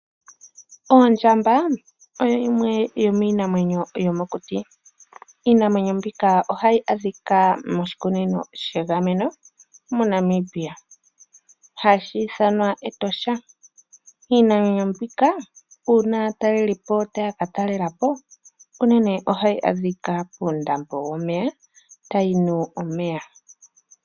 Oondjamba oyo yimwe yomiinamwenyo yomokuti . Iinamwenyo mbika ohayi adhika moshikunino shegameno moNamibia hashi ithanwa Etosha National Park. Iinamwenyo mbika uuna aatalelipo taya ka talelapo, unene ohayi adhika puundambo womeya tayi nu omeya.